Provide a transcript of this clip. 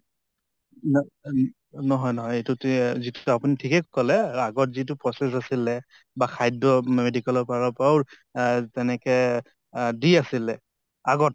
ন ন নহয় নহয় এইটো তো আপোনি ঠিকে কলে আগত যিটো process আছিলে বা খাদ্য় medical ৰ পাৰ অহ যেনেকে অহ দি আছিলে আগত